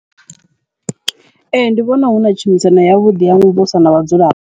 Ee, ndi vhona huna tshumisano yavhuḓi ya muvhuso na vhadzulapo.